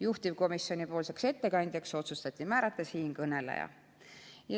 Juhtivkomisjoni ettekandjaks otsustati määrata siinkõneleja.